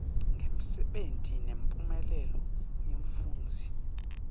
ngemsebenti nemphumelelo yemfundzi